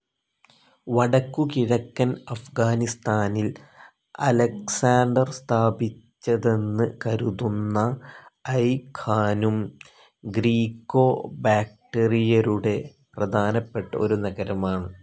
വടക്കുകിഴക്കൻ അഫ്ഗാനിസ്ഥാനിൽ അലക്സാണ്ടർസ്ഥാപിച്ചതെന്ന് കരുതുന്ന ഐ ഖാനും, ഗ്രീക്കോ ബാക്ടറിയരുടെ പ്രധാനപ്പെട്ട ഒരു നഗരമാണ്.